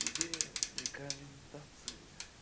тебе рекомендации